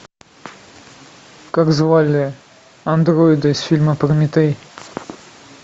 как звали андроида из фильма прометей